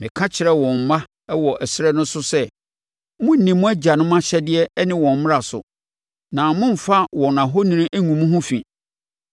Meka kyerɛɛ wɔn mma wɔ ɛserɛ no so sɛ, “Monnni mo agyanom ahyɛdeɛ ne wɔn mmara so, na mommfa wɔn ahoni ngu mo ho fi.